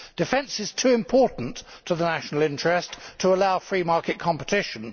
Defence is too important to the national interest to allow free market competition.